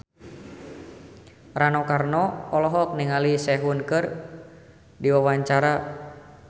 Rano Karno olohok ningali Sehun keur diwawancara